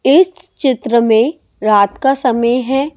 इस चित्र में रात का समय है ।